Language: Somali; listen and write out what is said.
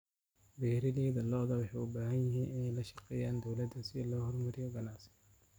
Beeralayda lo'da waxay u baahan yihiin inay la shaqeeyaan dawladda si loo horumariyo ganacsiga.